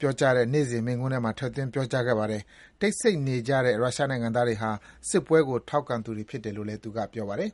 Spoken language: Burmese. ပြောကြားတဲ့ နေ့စဉ်မိန့်ခွန်းမှာ ထည့်သွင်း ပြောကြားခဲ့ပါတယ်။ တိတ်ဆိတ်နေကြတဲ့ ရုရှားနိုင်ငံသားတွေဟာ စစ်ပွဲကို ထောက်ခံသူတွေဖြစ်တယ် လို့လည်း သူက ပြောပါတယ်